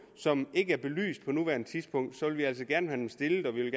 som ikke er belyst på nuværende tidspunkt vil vi altså gerne have dem stillet og vi vil